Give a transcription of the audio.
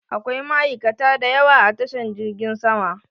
Akwai ma'aikata da yawa a tashan jirgin sama